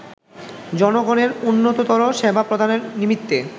জনগণের উন্নততর সেবা প্রদানের নিমিত্তে